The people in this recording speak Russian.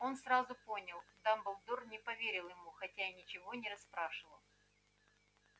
он сразу понял дамблдор не поверил ему хотя и ничего не расспрашивал